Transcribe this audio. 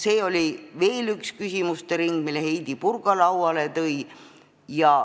See oli veel üks küsimuste ring, mille Heidy Purga lauale tõi.